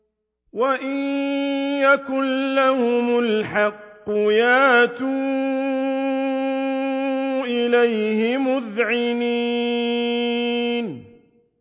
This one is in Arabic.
وَإِن يَكُن لَّهُمُ الْحَقُّ يَأْتُوا إِلَيْهِ مُذْعِنِينَ